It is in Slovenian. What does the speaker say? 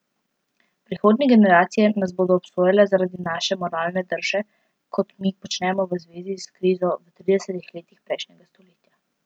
Prihodnje generacije nas bodo obsojale zaradi naše moralne drže, kot mi počnemo v zvezi s krizo v tridesetih letih prejšnjega stoletja.